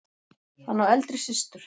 Hann á eldri systur.